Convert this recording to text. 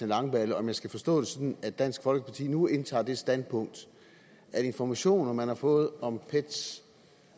langballe om jeg skal forstå det sådan at dansk folkeparti nu indtager det standpunkt at information man har fået i om pets